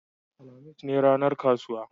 alhamis ne ranar kasuwa